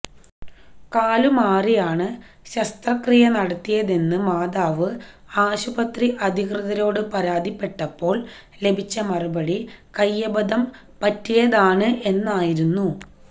കാലുമാറിയാണ് ശസ്ത്രക്രിയ നടത്തിയതെന്ന് മാതാവ് ആശുപത്രി അധികൃതരോട് പരാതിപെട്ടപ്പോള് ലഭിച്ച മറുപടി കൈയബദ്ധം പറ്റിയതാണ് എന്നായിരുന്നു